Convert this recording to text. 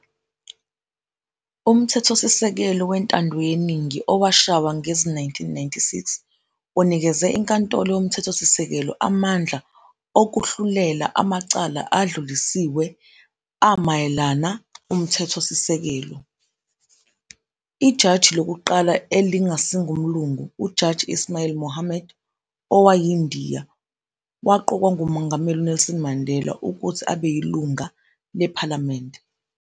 Umthethosikelelo wentandoyeningi owashaywa ngezi-1996, unikeze iNkantolo yoMthethosisekelo amandla okuhlulela amacala adlulisiwe amayelana umthethosisekelo. Ijaji lokuqala elingasi ngumlungu, uJaji Ismail Mahomed, owayiNdiya, waqokwa nguMongameli uNelson Mandela, ukuthi abeyilunga lenkantolo.